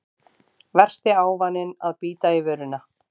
Versti ávaninn að bíta í vörina